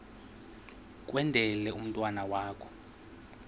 kwendele umntwana wakho